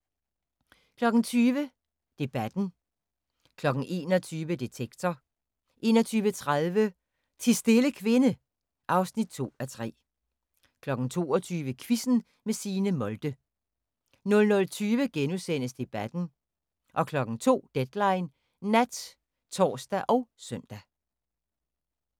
20:00: Debatten 21:00: Detektor 21:30: Ti stille kvinde (2:3) 22:00: Quizzen med Signe Molde 00:20: Debatten * 02:00: Deadline Nat (tor og søn)